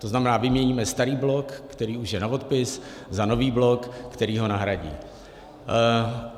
To znamená, vyměníme starý blok, který už je na odpis, za nový blok, který ho nahradí.